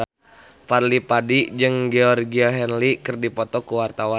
Fadly Padi jeung Georgie Henley keur dipoto ku wartawan